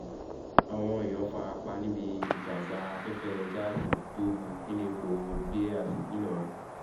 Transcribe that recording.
àwọn èèyàn fara pa níbi ìjàgbá afẹ́fẹ́ gáàsì tó bù nílẹ̀pọ̀ béas ńìlọrin